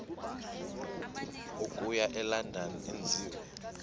okuya elondon enziwe